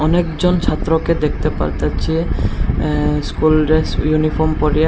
অনেকজন ছাত্রকে দেখতে পারতেছে অ্যা স্কুল ড্রেস ইউনিফর্ম পরিয়া --